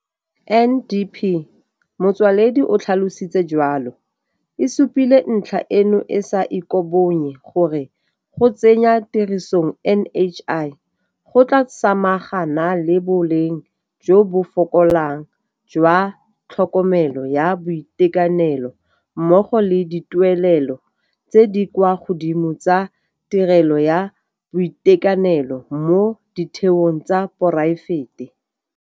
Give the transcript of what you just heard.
NDP, Motsoaledi o tlhalositse jalo, e supile ntlha eno e sa ikobonye gore go tsenya tirisong NHI, go tla samaga na le boleng jo bo fokolang jwa tlhokomelo ya boitekanelo mmogo le dituelelo tse di kwa godimo tsa tirelo ya boitekanelo mo ditheong tsa poraefete.